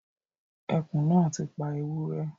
Ẹkùn náà ti pa ewúrẹ́